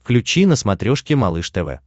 включи на смотрешке малыш тв